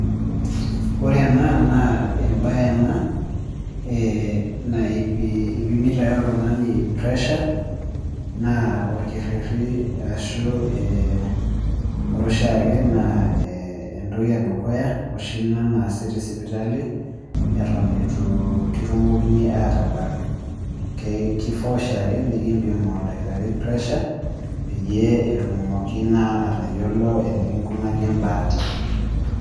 Ore ena naa ebae ena naipi ipimita ake oltung'ani pressure, naa orkerrerri ashu ore oshiake naa entoki edukuya oshi ina naasi tesipitali, eton itu kitumokini atabak. Kifaa oshiake nikimpim oldakitari pressure, peyie etumoki naa atayiolo enikinkunaki ebaata.